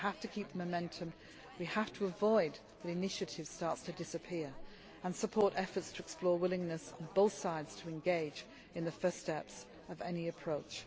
solution. We have to keep up the momentum, we have to avoid initiatives starting to disappear, and we have to support efforts to explore willingness on both sides to engage in the first steps of any